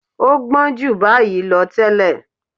ọ́ gbọ́n ju báyìí lọ tẹ́lẹ̀.